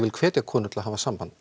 hvet konur til að hafa samband